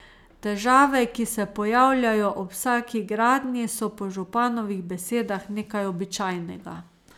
Težave, ki se pojavljajo ob vsaki gradnji, so po županovih besedah nekaj običajnega.